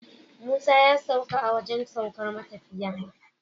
Musa ya sauka a wajan saukar matafiya